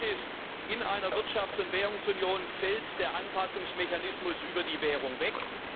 Aber Fakt ist In einer Wirtschafts und Währungsunion fällt der Anpassungsmechanismus über die Währung weg.